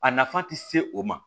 A nafa ti se o ma